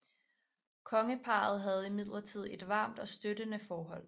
Kongeparret havde imidlertid et varmt og støttende forhold